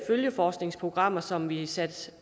følgeforskningsprogrammer som vi har sat